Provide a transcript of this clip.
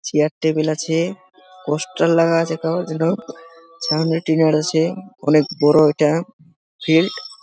Chair table আছে poster লাগা আছে তো যেন সামনে আছে। অনেক বড়ো এটা ফিল্ড ।